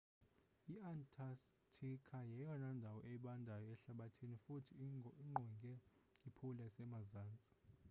i-antarctica yeyona ndawo ibandayo ehlabathini futhi ingqonge i-pole yasemazntsi